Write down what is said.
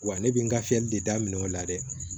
Wa ne bɛ n ka fiyɛli de da minɛ o la dɛ